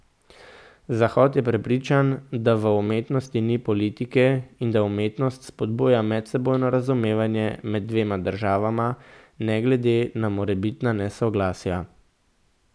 Zahod je prepričan, da v umetnosti ni politike in da umetnost spodbuja medsebojno razumevanje med dvema državama, ne glede na morebitna nesoglasja.